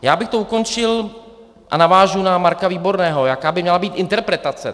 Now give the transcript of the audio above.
Já bych to ukončil a navážu na Marka Výborného, jaká by měla být interpretace.